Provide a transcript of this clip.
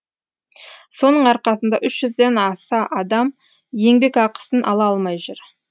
соның арқасында үш жүзден аса адам еңбекақысын ала алмай жүр